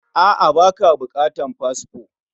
A,a, baka bukatan fasfo